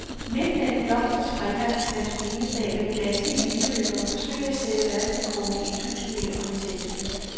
Midt mellem blomster, springvand og pantomimeteater vil danske eliteløbere forsøge at sætte verdensrekord i et tusind meter orienteringsløb.